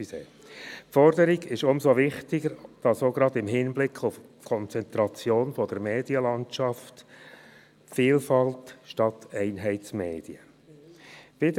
Die Forderung ist umso wichtiger, als es gerade im Hinblick auf die Konzentration der Medienlandschaft Vielfalt statt Einheitsmedien geben soll.